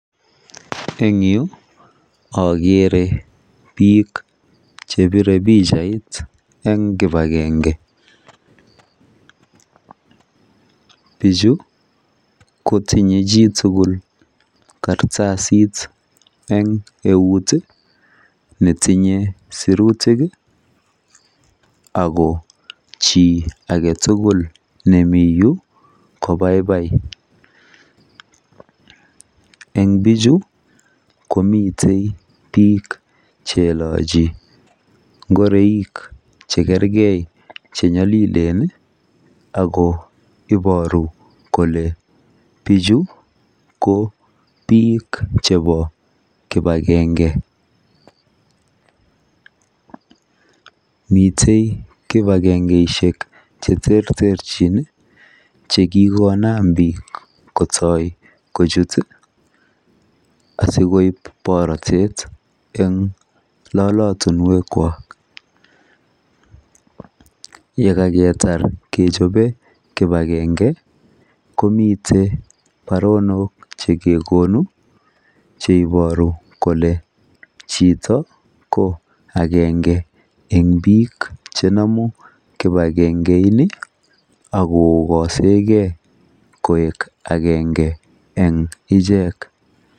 En yuu okere bik chepire pichait en kipagenge, bichu kotinye chitukul kartasit en uet netinye sirutik ako chii agetutuk nemii yuu ko baibai. En bichu komiten bik cheilochi ingoroik chekergee chenyolilen nii ako iboru kole bichu ko bik chebo kipagenge. Miten kipagengeishek cheterterchin chekikonam bik kotoi kochut tii sikoib borotet en lolotunwek kwak, yekakotar kechoben kipagenge komiten baronok chekekonu cheiboru kole chito ko agenge en bik chenomu kipagengeini ak kokosengee koik agenge en ichek.